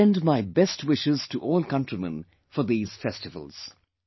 I extend my best wishes to all countrymen for these festivals